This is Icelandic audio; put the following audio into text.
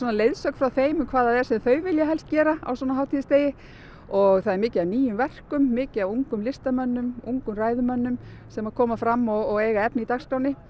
leiðsögn frá þeim um hvað þau vilja helst gera á svona hátíðisdegi og það er mikið af nýjum verkum mikið af ungum listamönnum ungum ræðumönnum sem koma fram og eiga efni í dagskránni